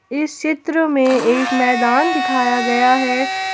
इस चित्र में एक मैदान दिखाया गया है।